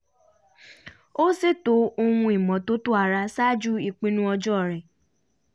ó ṣètò ohun ìmọ́tótó ara ṣáájú ìpinnu ọjọ́ rẹ̀